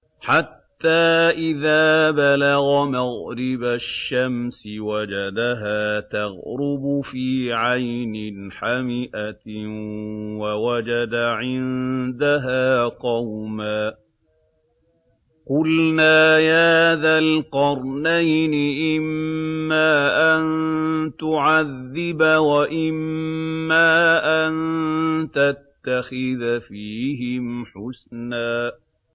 حَتَّىٰ إِذَا بَلَغَ مَغْرِبَ الشَّمْسِ وَجَدَهَا تَغْرُبُ فِي عَيْنٍ حَمِئَةٍ وَوَجَدَ عِندَهَا قَوْمًا ۗ قُلْنَا يَا ذَا الْقَرْنَيْنِ إِمَّا أَن تُعَذِّبَ وَإِمَّا أَن تَتَّخِذَ فِيهِمْ حُسْنًا